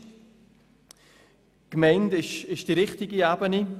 Die Gemeinde ist die richtige Ebene.